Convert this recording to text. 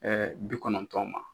bi kɔnɔntɔn ma